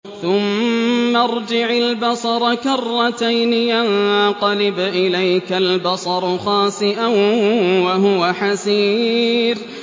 ثُمَّ ارْجِعِ الْبَصَرَ كَرَّتَيْنِ يَنقَلِبْ إِلَيْكَ الْبَصَرُ خَاسِئًا وَهُوَ حَسِيرٌ